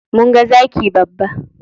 Mun ga zaki babba.